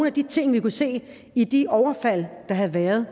af de ting vi kunne se i de overfald der havde været